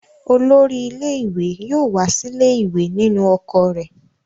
Olórí ilé-ìwé yóò wá sílé ìwé nínú ọkọ̀ rẹ̀.